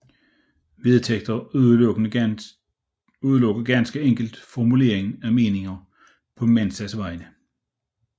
Vedtægterne udelukker ganske enkelt formulering af meninger på Mensas vegne